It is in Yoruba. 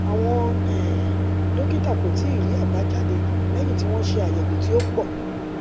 àwọn um dókítà kò tíì rí àbájáde léyìn tí wọn ṣe ayewo tí ó pọ